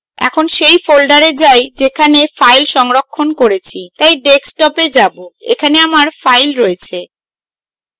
এখন সেই folder যাই যেখানে file সংরক্ষণ করেছি তাই desktop we যাবো এখানে আমার file রয়েছে